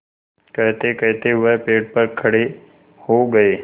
कहतेकहते वह पेड़ पर खड़े हो गए